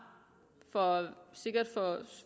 for